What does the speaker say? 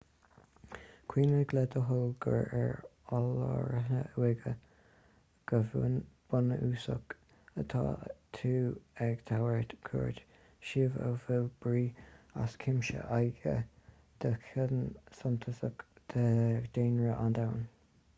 cuimhnigh le do thoil gur ar oll-láithreán uaighe go bunúsach atá tú ag tabhairt cuairt suíomh a bhfuil brí as cuimse aige do chion suntasach de dhaonra an domhain